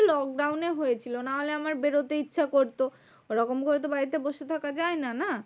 Lockdown এ হয়েছিল। নাহলে আমার বেরোতে ইচ্ছা করতো, ওরকম করে তো বাড়িতে বসে থাকা যায়না না?